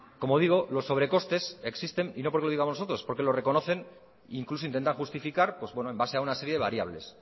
como digo los sobrecostes existen y no porque lo digamos nosotros es porque lo reconocen incluso intentan justificar en base a una serie de variables